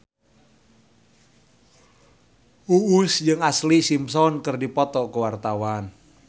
Uus jeung Ashlee Simpson keur dipoto ku wartawan